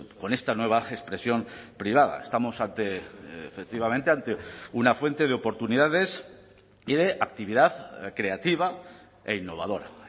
con esta nueva expresión privada estamos efectivamente ante una fuente de oportunidades y de actividad creativa e innovadora